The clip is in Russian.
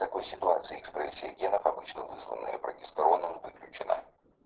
в такой ситуации экспрессия генов обычно вызванная прогестероном выключена